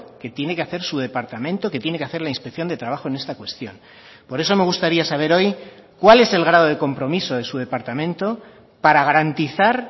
que tiene que hacer su departamento que tiene que hacer la inspección de trabajo en esta cuestión por eso me gustaría saber hoy cuál es el grado de compromiso de su departamento para garantizar